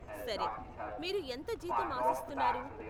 సరే, మీరు ఎంత జీతం ఆశిస్తున్నారు?